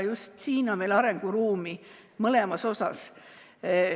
Just siin on meil arenguruumi, mõlema puhul.